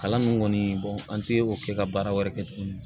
Kalan nun kɔni an ti o se ka baara wɛrɛ kɛ tuguni